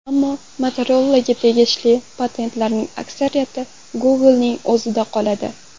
Ammo Motorola’ga tegishli patentlarning aksariyati Google’ning o‘zida qoladi.